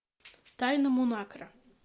тайна мунакра